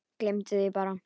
Gleymdi því bara.